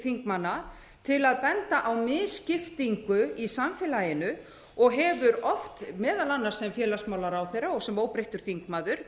þingmanna til að benda á misskiptingu í samfélaginu og hefur oft meðal annars sem félagsmálaráðherra og sem óbreyttur þingmaður